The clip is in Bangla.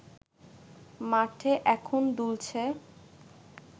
মাঠে এখন দুলছে